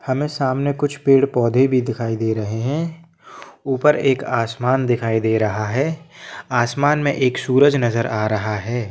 हमे सामने कुछ पेड पौधे भी दिखाई दे रहे हैं ऊपर एक आसमान दिखाई दे रहा है आसमान मे एक सूरज नजर आ रहा है।